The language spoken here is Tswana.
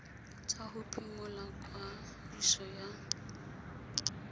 ya go phimola kwadiso ya